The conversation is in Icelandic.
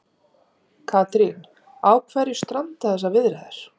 Katrín, á hverju stranda þessar viðræður?